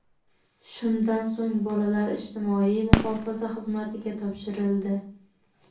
Shundan so‘ng, bolalar ijtimoiy muhofaza xizmatiga topshirildi.